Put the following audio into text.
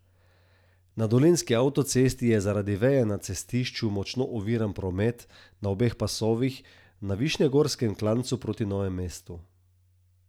Na dolenjski avtocesti je zaradi veje na cestišču močno oviran promet na obeh pasovih na višnjegorskem klancu proti Novemu mestu.